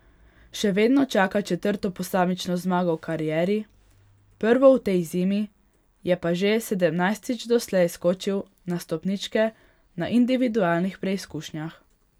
Še vedno čaka četrto posamično zmago v karieri, prvo v tej zimi, je pa že sedemnajstič doslej skočil na stopničke na individualnih preizkušnjah.